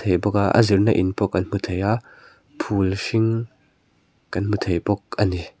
ih bawk a a zirna in pawh kan hmu thei a phul hring kan hmu thei bawk ani.